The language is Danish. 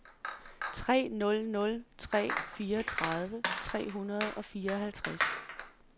tre nul nul tre fireogtredive tre hundrede og fireoghalvtreds